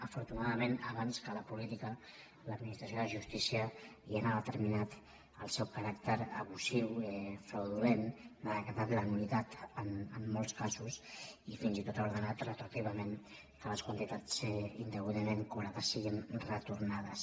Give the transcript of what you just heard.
afortuna·dament abans que la política l’administració de jus·tícia ja n’ha determinat el caràcter abusiu fraudulent n’ha decretat la nul·litat en molts casos i fins i tot ha ordenat retroactivament que les quantitats indeguda·ment cobrades siguin retornades